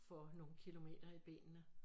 Får nogen kilometer i benene